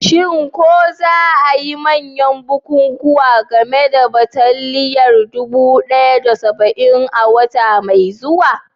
Shin ko za a yi manyan bukukuwan game da bataliyar dubu ɗaya da saba'in a wata mai zuwa?